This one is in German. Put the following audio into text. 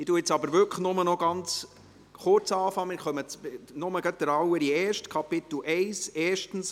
Ich werde jetzt wirklich nur noch ganz kurz beginnen, nur gerade mit dem Allerersten.